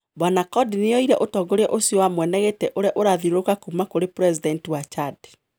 Bwana Conde nioyire utongoria ucio wa mwenegiti uria urathiururuka kuuma kuri presidenti wa Chad